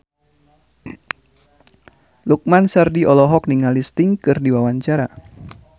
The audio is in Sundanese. Lukman Sardi olohok ningali Sting keur diwawancara